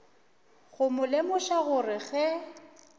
go mo lemoša gore ge